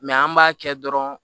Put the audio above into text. an b'a kɛ dɔrɔn